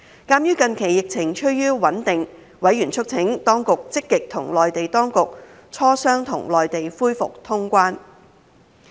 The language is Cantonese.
鑒於近期疫情趨於穩定，委員促請當局積極與內地當局磋商，與內地恢復通關。